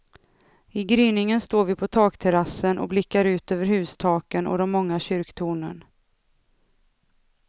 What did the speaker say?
I gryningen står vi på takterrassen och blickar ut över hustaken och de många kyrktornen.